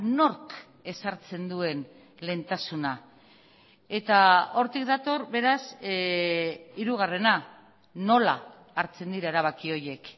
nork ezartzen duen lehentasuna eta hortik dator beraz hirugarrena nola hartzen dira erabaki horiek